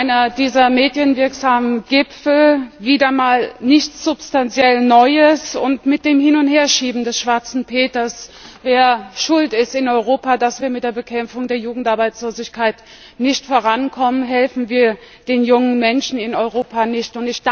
Wieder einer dieser medienwirksamen Gipfel, wieder mal nichts substanziell Neues. Mit dem Hin und Herschieben des Schwarzen Peters wer schuld ist in Europa, dass wir mit der Bekämpfung der Jugendarbeitslosigkeit nicht vorankommen helfen wir den jungen Menschen in Europa nicht.